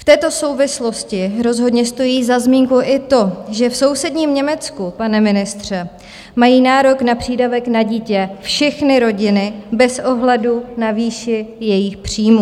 V této souvislosti rozhodně stojí za zmínku i to, že v sousedním Německu, pane ministře, mají nárok na přídavek na dítě všechny rodiny bez ohledu na výši jejich příjmů.